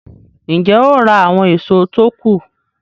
Ń jẹ́ ó ra àwọn èso tó kù